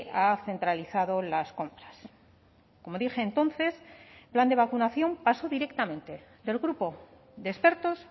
ha centralizado las compras como dije entonces el plan de vacunación pasó directamente del grupo de expertos